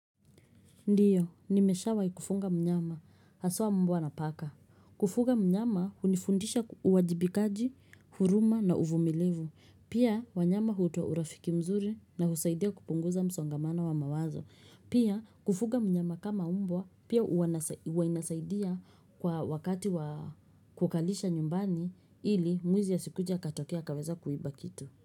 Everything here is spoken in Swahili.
Ndiyo, nimeshawa ikufunga mnyama. Haswa mbwa na paka. Kufunga mnyama, unifundisha uwajibikaji, huruma na uvumilevu. Pia, wanyama hutua urafiki mzuri na husaidia kupunguza msongamana wa mawazo. Pia, kufunga mnyama kama mbwa, pia uainasaidia kwa wakati kukalisha nyumbani ili mwizi ya sikuja katokea kaveza kuiba kitu.